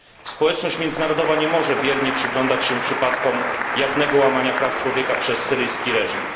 Społeczność międzynarodowa nie może biernie przyglądać się przypadkom jawnego łamania praw człowieka przez syryjski reżim.